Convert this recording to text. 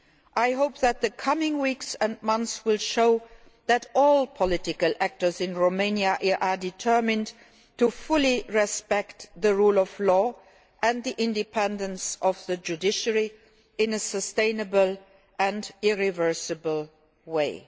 I hope that the coming weeks and months will show that all political actors in Romania are determined to fully respect the rule of law and the independence of the judiciary in a sustainable and irreversible way.